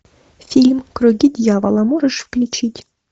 фильм круги дьявола можешь включить